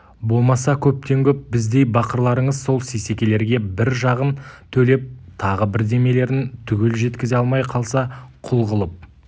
болмаса көптен көп біздей бақырларыңыз сол сейсекелерге бір жағын төлеп тағы бірдемелерін түгел жеткізе алмай қалса құл қылып